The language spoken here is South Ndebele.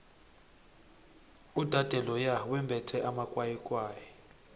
udade loya wembethe amakwayikwayi